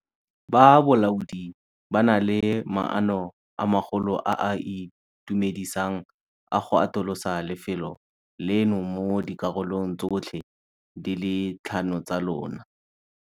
Ba bolaodi ba na le maano a magolo a a itumedisang a go atolosa lefelo leno mo dikarolong tsotlhe di le tlhano tsa lona.